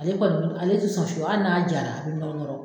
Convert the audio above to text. Ale kɔni, ale tɛ sɔn fiyewu hali n'a jara , a bɛ nɔrɔ nɔrɔ.